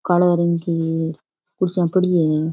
काला रंग की कुर्सियां पड़ी है।